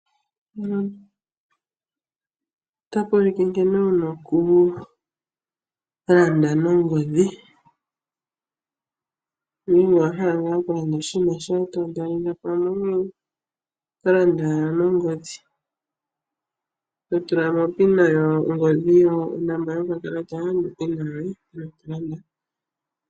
Mpano otapu ulike nkene wuna oku landa nongodhi. Ngele owa hala ngaa oku landa oshinima shoye noshowo tombesitele oshinima shoye oto landa wala nongodhi to tulamo opin onomola yokakalata.